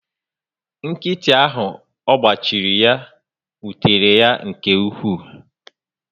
Nkịtị áhù ọgba chiri ya, wutere yá nke ukwu